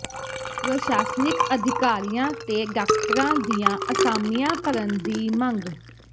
ਪ੍ਰਸ਼ਾਸਨਿਕ ਅਧਿਕਾਰੀਆਂ ਤੇ ਡਾਕਟਰਾਂ ਦੀਆਂ ਅਸਾਮੀਆਂ ਭਰਨ ਦੀ ਮੰਗ